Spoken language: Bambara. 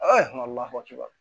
lawajiba